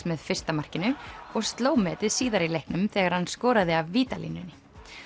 með fyrsta markinu og sló metið síðar í leiknum þegar hann skoraði af vítalínunni